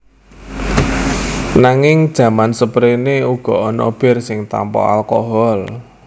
Nanging jaman sepréné uga ana bir sing tanpa alkohol